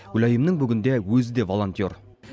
гүлайымның бүгінде өзі де волонтер